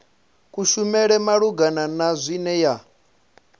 kushumele malugana na zwine ya